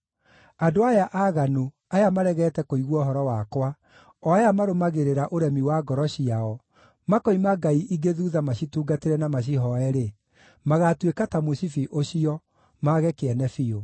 Andũ aya aaganu, aya maregete kũigua ũhoro wakwa, o aya marũmagĩrĩra ũremi wa ngoro ciao, makoima ngai ingĩ thuutha macitungatĩre na macihooye-rĩ, magaatuĩka ta mũcibi ũcio, mage kĩene biũ!